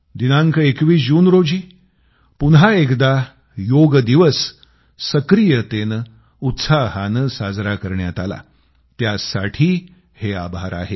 दिनांक 21 जून रोजी पुन्हा एकदा योग दिवस सक्रियतेनं उत्साहानं साजरा करण्यात आला त्यासाठी हे आभार आहेत